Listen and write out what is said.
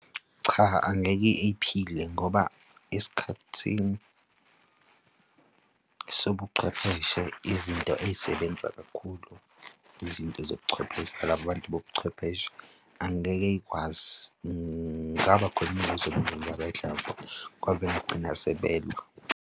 Cha, angeke iphile ngoba esikhathini sobuchwepheshe, izinto ey'sebenzisa kakhulu izinto zobuchwepheshe ilaba bantu bobuchwepheshe. Angeke y'kwazi, ngingaba khona ngoba bagcina sebelwa.